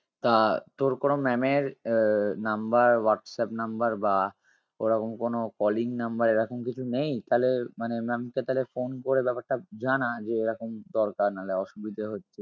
তা তোর কোনো maam এর আহ number হোয়াটসঅ্যাপ number বা ওরকম কোনো calling number এরকম কিছু নেই? তালে মানে maam কে তালে phone করে ব্যাপারটা জানা যে এরকম দরকার নাহলে অসুবিধে হচ্ছে